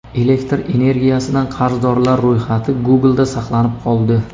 Elektr energiyasidan qarzdorlar ro‘yxati Google’da saqlanib qoldi.